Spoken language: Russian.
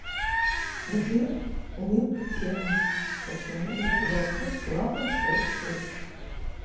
где нет темы сочинения горжусь славой своих предков